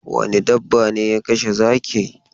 Wane dabba ne ya kashe zaki?